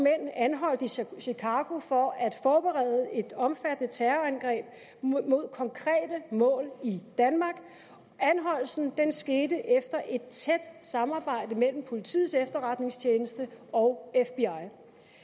mænd anholdt i chicago for at forberede et omfattende terrorangreb mod konkrete mål i danmark anholdelsen skete efter et tæt samarbejde mellem politiets efterretningstjeneste og fbi